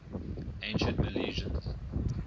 ancient milesians